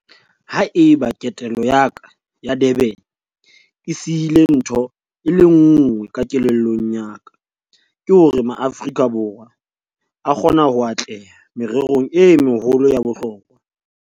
Ha eba ketelo ya ka ya Durban e sihile ntho e le nngwe ka kelellong ya ka, ke hore Maaforika Borwa a kgona ho atleha mererong e meholo ya bohlokwa.